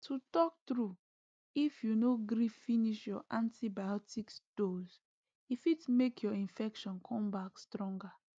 to talk trueif you no gree finish your antibiotics dose e fit make your infection come back stronger